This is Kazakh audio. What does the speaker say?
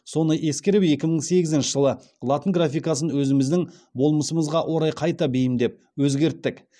соны ескеріп екі мың сегізінші жылы латын графикасын өзіміздің болмысымызға орай қайта бейімдеп өзгерттік